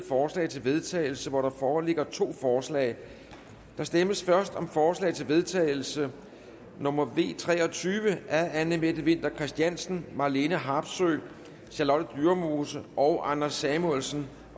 forslag til vedtagelse der foreligger to forslag der stemmes først om forslag til vedtagelse nummer v tre og tyve af anne mette winther christiansen marlene harpsøe charlotte dyremose og anders samuelsen